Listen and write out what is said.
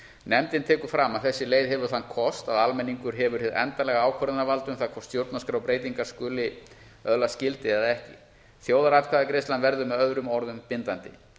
nefndin tekur fram að þessi leið hefur þann kost að almenningur hefur hið endanlega ákvörðunarvald um það hvort stjórnarskrárbreytingarnar skuli öðlast gildi eða ekki þjóðaratkvæðagreiðslan verður með öðrum orðum bindandi